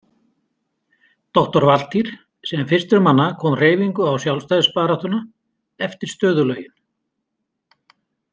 Doktor Valtýr sem fyrstur manna kom hreyfingu á sjálfstæðisbaráttuna eftir stöðulögin.